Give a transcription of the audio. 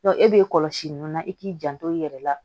e b'e kɔlɔsi ninnu na i k'i janto i yɛrɛ la